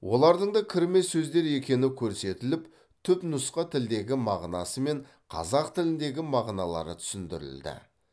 олардың да кірме сөздер екені көрсетіліп түпнұсқа тілдегі мағынасы мен қазақ тіліндегі мағыналары түсіндірілді